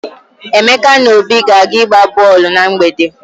Emeka na Obi ga-aga ịgba bọọlụ na mgbede.